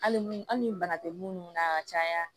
Hali ni bana tɛ munnu na ka caya